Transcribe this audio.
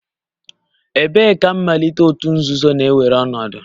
Ebee ka mmalite òtù nzuzo na-ewere ọnọdụ?